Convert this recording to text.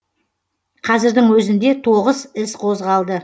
қазірдің өзінде тоғыз іс қозғалды